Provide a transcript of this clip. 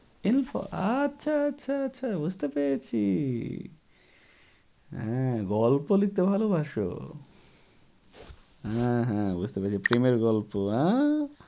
আচ্ছা আচ্ছা আচ্ছা বুঝতে পেরেছি হ্যাঁ গল্প লিখতে ভালোবাসো হ্যাঁ হ্যাঁ বুঝতে পেরেছি প্রেমের গল্প আঁ